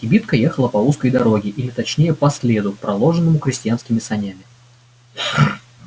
кибитка ехала по узкой дороге или точнее по следу проложенному крестьянскими санями